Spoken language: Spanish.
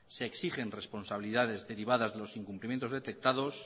se exigen responsabilidades derivadas de los incumplimientos detectados